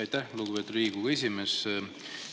Aitäh, lugupeetud Riigikogu esimees!